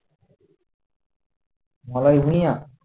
মালাই Bhuiyan